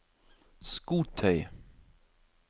skotøy